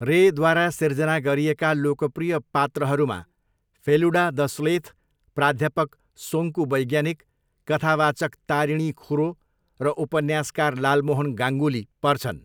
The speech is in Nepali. रेद्वारा सिर्जना गरिएका लोकप्रिय पात्रहरूमा फेलुडा द स्लेथ, प्राध्यापक सोङ्कू वैज्ञानिक, कथावाचक तारिणी खुरो र उपन्यासकार लालमोहन गाङ्गुली पर्छन्।